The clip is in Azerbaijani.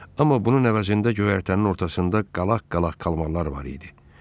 Amma bunun əvəzində göyərtənin ortasında qalaq-qalaq kalmarlar var idi.